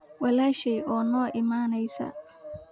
Walaashay oo noo imanaysa.